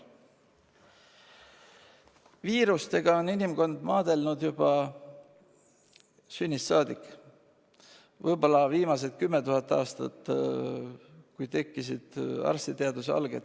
Viirustega on inimkond maadelnud juba sünnist saadik, teadlikult võib-olla viimased 10 000 aastat, kui tekkisid arstiteaduse alged.